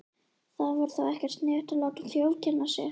Það var ekkert sniðugt að láta þjófkenna sig.